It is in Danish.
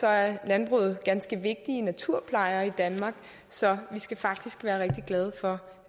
er landbruget ganske vigtig naturplejer i danmark så vi skal faktisk være rigtig glade for